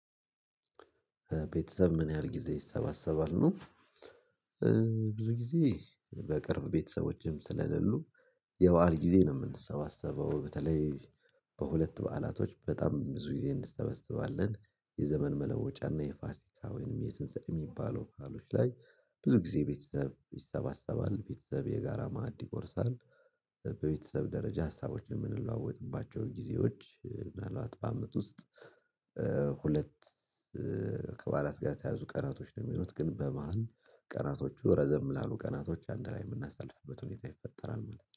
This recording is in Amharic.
ቤተሰብ ምን ያህል ጊዜ ይሰባሰባሉ? ብዙ ጊዜ በቅርብ ቤተሰቦችም ስለሌሉ የበአል ጊዜ ነው የምንሰባሰበው በተለይ በሁለት በዓላቶች በጣም ብዙ ጊዜ እንሰበስባለን። የዘመን መለወጫና የፋሲካ ወይንም የትንሰኤ የሚባለው ባአሎች ላይ ብዙ ጊዜ ቤተሰብ ይሰባሰባል ቤተሰብ የጋራ ማዕድ ይቆርሳል። በቤተሰብ ደረጃ ሀሳቦችን የምንለዋወጥባቸው ጊዜዎች እና ምናልባት በአመት ውስጥ ሁለት ጋር የተያዙ ቀናቶች ነው የሚሆት ግን በመሃል ቀናቶቹ ረዘም ላሉ ቀናቶች አንድ ላይ የምናሳልፍበት ሁኔታ ይፈጠራል። ማለት ነው